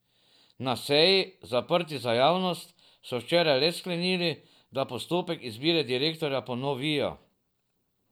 Na seji, zaprti za javnost, so včeraj le sklenili, da postopek izbire direktorja ponovijo.